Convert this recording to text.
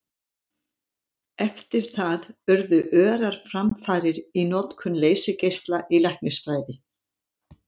Eftir það urðu örar framfarir í notkun leysigeisla í læknisfræði.